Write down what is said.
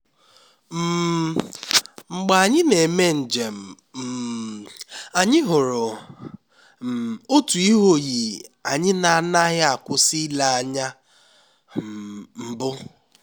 um mgbe anyị na-eme njem um anyị hụrụ um otu ihe oyiyi anyị na-agaghị akwụsị ile anya mbụ